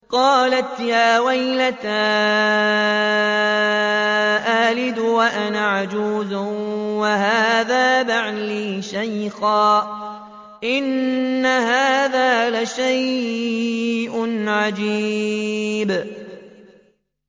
قَالَتْ يَا وَيْلَتَىٰ أَأَلِدُ وَأَنَا عَجُوزٌ وَهَٰذَا بَعْلِي شَيْخًا ۖ إِنَّ هَٰذَا لَشَيْءٌ عَجِيبٌ